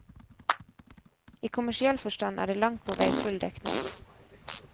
I kommersiell forstand er det langt på vei full dekning.